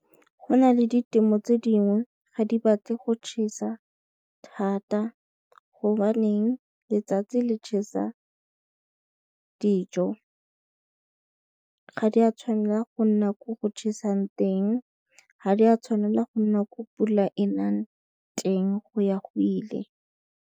Go na le ditemo tse dingwe ga di batle go tšhesa thata gobaneng letsatsi le tšhesa dijo. Ga di a tshwanela go nna ko go tšhesang teng, ga di a tshwanela go nna ko pula e nang teng go ya go ile.